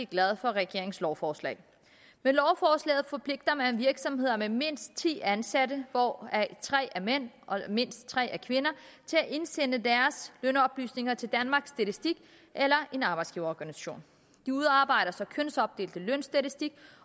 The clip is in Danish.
glade for regeringens lovforslag med lovforslaget forpligter man virksomheder med mindst ti ansatte hvoraf tre er mænd og mindst tre er kvinder til at indsende deres lønoplysninger til danmarks statistik eller en arbejdsgiverorganisation de udarbejder så kønsopdelt lønstatistik